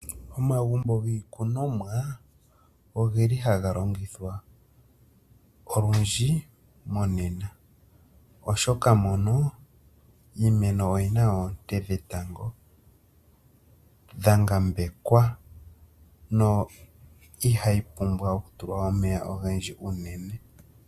Omagumbo giikunomwa ogeli haga longithwa olundji monena oshoka mono iimeno oyina oonte dhetango dhangambekwa, no ihayi pumbwa okutulwa omeya ogendji unene.